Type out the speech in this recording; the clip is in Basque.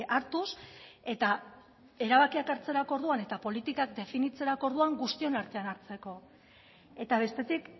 hartuz eta erabakiak hartzeko orduan eta politikak definitzerako orduan guztion artean hartzeko eta bestetik